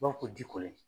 U b'a fɔ ko ji kolen